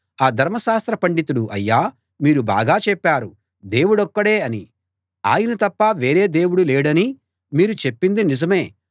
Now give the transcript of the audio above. ఆ ధర్మశాస్త్ర పండితుడు అయ్యా మీరు బాగా చెప్పారు దేవుడొక్కడే అనీ ఆయన తప్ప వేరే దేవుడు లేడనీ మీరు చెప్పింది నిజమే